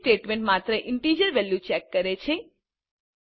switch statement માત્ર integer value check કરે છે